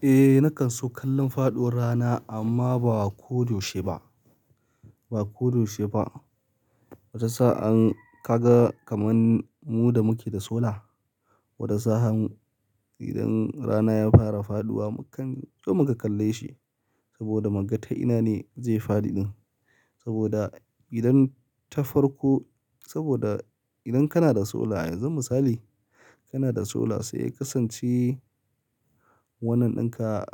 Eh, nakan so kallon faɗuwar rana amma ba ko yaushe ba. Ba ko yaushe ba. Wata sa'an ka ga kamar mu da muke da sola, wata sa'an idan rana ya fara faɗuwa mukan so mu ka kalle shi saboda muga ta ina ne zai faɗi ɗin. Saboda idan ta farko, saboda idan kana da sola yanzu misali kana da sola sai ka sance wannan ɗinka,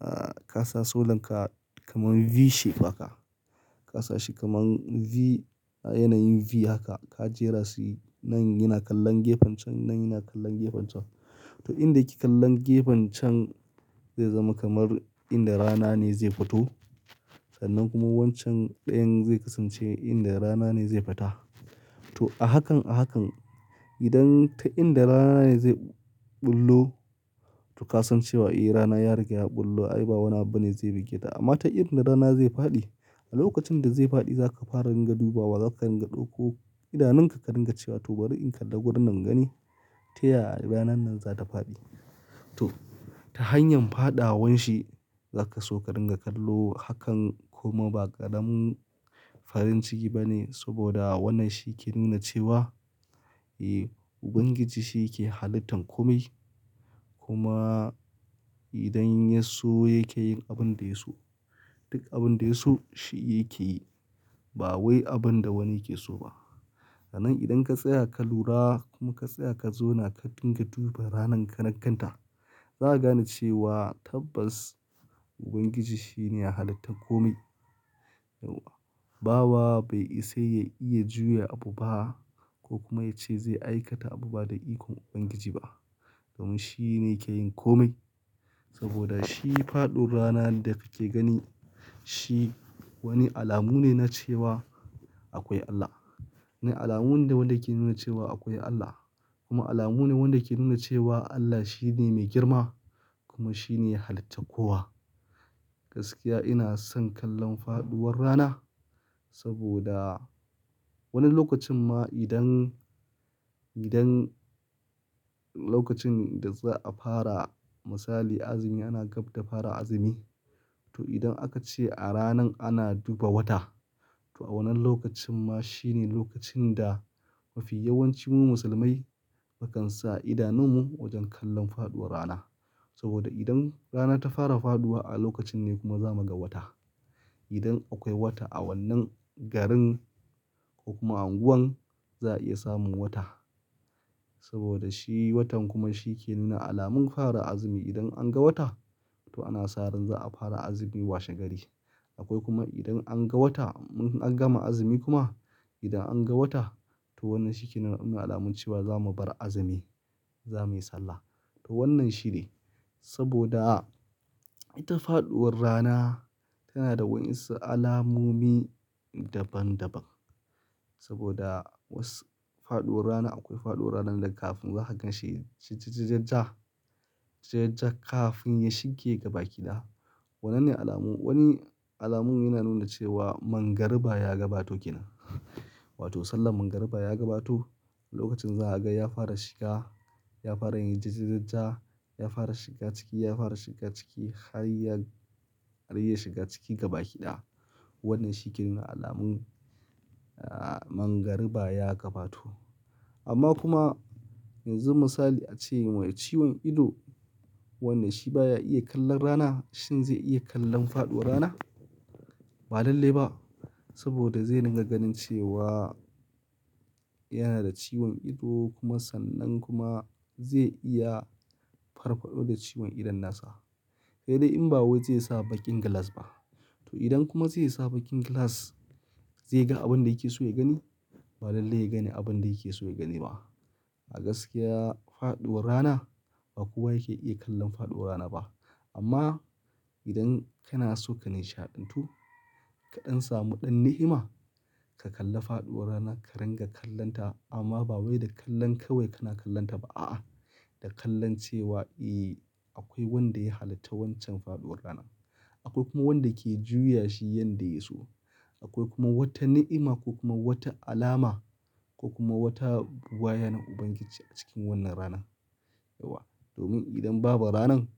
ah kasa solanka kamar V shape aka. Ka sa shi kamar V, yanayin V haka ka jera su nan yana kallon gefen can, nan yana kallon gefen can. To, inda kike kallon gefen can zai zama kamar inda rana ne zai fito sannan kuma wancan ɗayan zai kasance inda rana ne zai fita. To, a hakan a hakan idan ta inda rana ne zai ɓullo to ka san cewa eh rana ya rage a ɓullo ai ba wani abu ne zai buge ta. Amma ta inda rana zai faɗi, a lokacin da zai faɗi za ka fara ringa duba wa, za ka ringa ɗauko idanunka ka ringa cewa to bari in kalla wurin nan nagani ta yaya ranan nan za ta faɗi. To, ta hanyar faɗawa wan shi za ka so ka ringa kallo hakan kuma ba ƙaram farin ciki ba ne saboda wannan shi ke nuna cewa eh Ubangiji shi yake halittan kome. Kuma idan Yaso yake yin abin da ya so, duk abin da ya so shi yake yi ba wai abin da wani yake so ba. Nan idan ka tsaya ka lura kuma ka tsaya ka zo na ka dinga duba ranan karankanta za ka gane cewa tabbas Ubangiji shine ya halitta kome. Bawa bai isa ya iya juya abu ba ko kuma ya ce zai aikata abu ba da ikon Ubangiji ba domin shi ne yake yin kome. Saboda shi faɗuwar rana da kake gani shi wani alamu ne na cewa akwai Allah. Wani alamu ne wanda ke nuna cewa akwai Allah kuma alamu ne wanda ke nuna cewa Allah shi ne mai girma kuma shi ne ya halitta kowa. Gaskiya ina son kallon faɗuwar rana saboda wani lokacin ma idan, idan lokacin da za a fara misali azumi ana gab da fara azumi. To idan aka ce a ranan ana duba wata to a wannan lokacin ma shi ne lokacin da mafi yawancin mu musulmai mukan sa idanunmu wajen kallon faɗuwar rana. Saboda idan rana ta fara faɗuwa a lokacin ne kuma za mu ga wata. Idan akwai wata a wannan garin ko kuma unguwan za a iya samun wata. Saboda shi watan kuma shi ke nuna alamun fara azumi idan an ga wata to ana sa ran za a fara azumi washe gari. Akwai kuma idan an ga wata mun an gama azumi kuma idan an ga wata to wannan shi ke nuna alamun cewa za mu bar azumi, za muyi Sallah. To wannan shi ne saboda ita faɗuwar rana tana da wasu alamomi daban daban. Saboda wasu faɗuwar rana akwai faɗuwar ranan da kafin za ka gan shi jijiji-jajja. Jijiji-jajja kafin ya shige gabaki ɗaya. Wannan ne alamun, wani alamun yana nuna cewa man gariba ya gabato ke nan. Wato sallan gariba ya gabato lokacin za a ga ya fara shiga, ya fara yin jijiji-jajja, ya fara shiga ciki, ya fara shiga ciki har ya, har ya shiga ciki gabaki ɗaya. Wannan shi ke nuna alamun, ah man gariba ya gabato. Amma kuma yanzu misali a ce mai ciwon ido wannan shi ba ya iya kallon rana shin zai iya kallon faɗuwar rana? Ba lallai ba saboda zai ringa ganin cewa yana da ciwon ido kuma sannan kuma zai iya farfado da ciwon idon nasa. Kai dai in ba wai zai sa baƙin glass ba. To idan kuma zai sa baƙin glass zai ga abin da yake so ya gani? Ba lallai ya gani abin da yake so ya gani ba. A gaskiya faɗuwar rana ba kowa yake iya kallon faɗuwar rana ba. Amma idan kana so ka nishi haɗin tu kaɗan samu ɗan ni'ima ka kalla faɗuwar rana ka ringa kallonta amma ba wai da kallon kawai kana kallonta ba a'a, da kallon cewa eh akwai wanda ya halitta wancan faɗuwar ranan. Akwai kuma wanda ke juya shi yanda ya so. Akwai kuma wata ni'ima ko kuma wata alama ko kuma wata buwayar Ubangiji a cikin wannan rana. Yauwa, domin idan babu ranan.